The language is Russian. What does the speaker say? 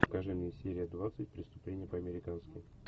покажи мне серия двадцать преступление по американски